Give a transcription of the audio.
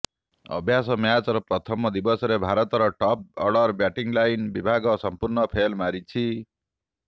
ଅଭ୍ୟାସ ମ୍ୟାଚର ପ୍ରଥମ ଦିବସରେ ଭାରତର ଟପ ଅର୍ଡର ବ୍ୟାଟିଂଲାଇନ୍ ବିଭାଗ ସମ୍ପୂର୍ଣ୍ଣ ଫେଲ୍ ମାରିଛି